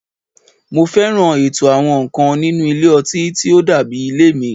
Mo fẹ́ràn ètò àwọn nǹkan nínú ilé ọtí tí ó dàbí ilé mi